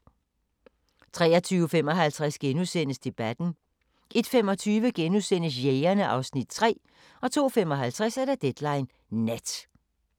23:55: Debatten * 01:25: Jægerne (Afs. 3)* 02:55: Deadline Nat